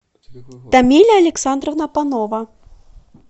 тамиля александровна панова